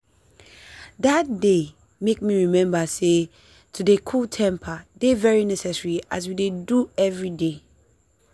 that day make me remember sey to dey cool temper dey very necessary as we dey do everyday.